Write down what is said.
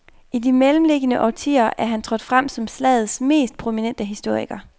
I de mellemliggende årtier er han trådt frem som slagets mest prominente historiker.